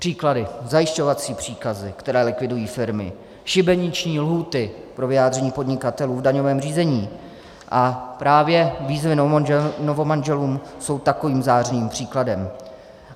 Příklady: zajišťovací příkazy, které likvidují firmy, šibeniční lhůty pro vyjádření podnikatelů v daňovém řízení a právě výzvy novomanželům jsou takovým zářným příkladem.